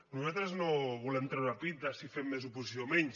nosaltres no volem treure pit de si fem més oposició o menys